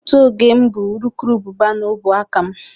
Otu oge m bu urukurubụba n'ọbụ aka m.